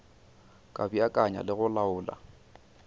ka beakanya le go laola